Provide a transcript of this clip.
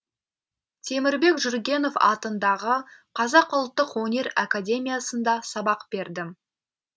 темірбек жүргенов атындағы қазақ ұлттық өнер академиясында сабақ бердім